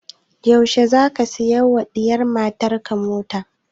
Yaushe za ka saya wa diyar matan ka mota?